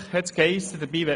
So wurde es uns gesagt.